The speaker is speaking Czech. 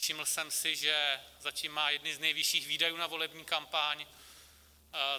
Všiml jsem si, že zatím má jedny z nejvyšších výdajů na volební kampaň.